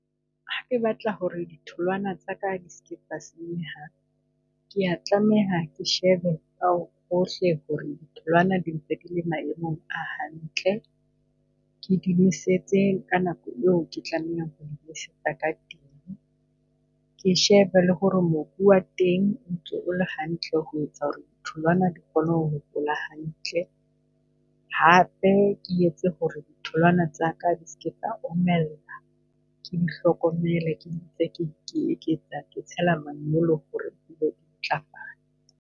Ha ke batla hore ditholwana tsaka di ske di a senyeha, ke a tlameha ke shebe hohle hore ditholwana di ntse di le maemong a hantle, ke di nosetse ka nako eo ke tlameha ho di nosetsa ka teng. Ke shebe le hore mobu wa teng o ntse o le hantle ho etsa hore ditholwana di kgone ho hola hantle, hape ke etse hore tholwana tsaka di ske di a omella. Ke di hlokomele ke tsela manyolo hore di ntlafale.